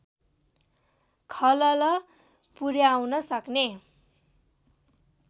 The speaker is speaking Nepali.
खलल पुर्‍याउन सक्ने